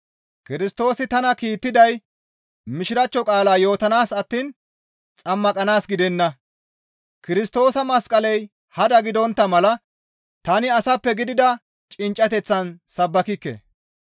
Kirstoosi tana kiittiday Mishiraachcho qaalaa yootanaas attiin xammaqanaas gidenna; Kirstoosa masqaley hada gidontta mala tani asappe gidida cinccateththan sabbakikke.